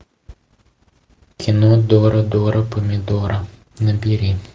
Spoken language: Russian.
кино дора дора помидора набери